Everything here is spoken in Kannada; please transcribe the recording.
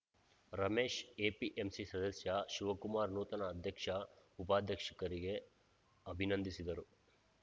ರಮೇಶ್‌ ಎಪಿಎಂಸಿ ಸದಸ್ಯ ಶಿವಕುಮಾರ್‌ ನೂತನ ಅಧ್ಯಕ್ಷ ಉಪಾಧ್ಯಕ್ಷರಿಗೆ ಅಭಿನಂದಿಸಿದರು